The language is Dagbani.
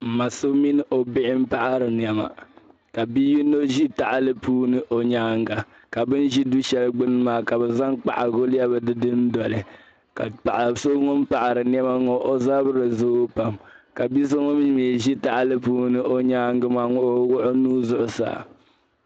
Mma so mini o bihi n paɣiri nyɛma ka bi' yino zi taɣili puuni o nyaaŋa ka bɛn zi du' shɛli gbuni maa ka bɛ zaŋ kpahigu lɛbi di dundoli ka paɣ'so wun paɣiri nyɛma ŋɔ o zabiri zooi pam ka bi'so wun mii zi taɣili wun mii zi taɣili puuni o nyaaŋa maa ka o wuɣi o nuu zuɣu saa